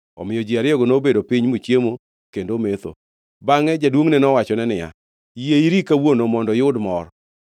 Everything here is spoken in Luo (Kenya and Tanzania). Omiyo ji ariyogo nobedo piny mochiemo kendo ometho. Bangʼe jaduongʼne nowachone niya, “Yie iri kawuono mondo iyud mor.”